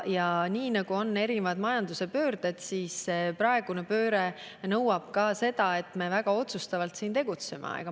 On erinevaid majanduse pöördeid ja praegune pööre nõuab ka seda, et me väga otsustavalt tegutseme.